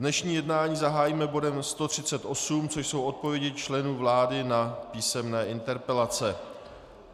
Dnešní jednání zahájíme bodem 138, což jsou odpovědi členů vlády na písemné interpelace.